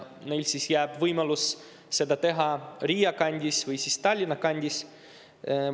Neile jääb siis võimalus seda teha Riia kandis või Tallinna kandis.